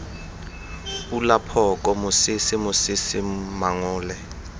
pula phoka mosese mosese mangole